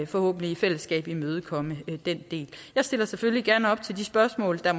forhåbentlig i fællesskab kan imødekomme den del jeg stiller selvfølgelig gerne op til de spørgsmål der